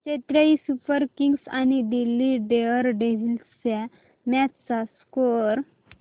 Chennai Super Kings आणि Delhi Daredevils च्या match चा स्कोअर